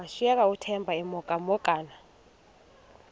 washiyeka uthemba emhokamhokana